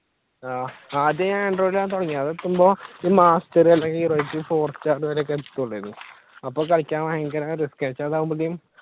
ആഹ് ആദ്യം ഞാൻ android ലാണ് തുടങ്ങിയത് master അല്ലെങ്കിൽ അപ്പൊ കളിക്കാൻ ഭയങ്കര